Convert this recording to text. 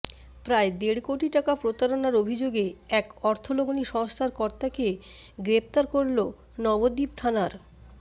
প্রায় দেড় কোটি টাকা প্রতারণার অভিযোগে এক অর্থলগ্নি সংস্থার কর্তাকে গ্রেফতার করল নবদ্বীপ থানার